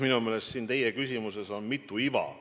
Minu meelest on teie küsimuses mitu iva.